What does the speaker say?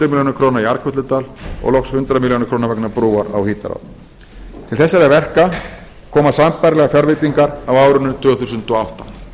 króna í arnkötludal og loks hundrað milljónir króna vegna brúar á hítará til þessara verka koma sambærilegar fjárveitingar á árinu tvö þúsund og átta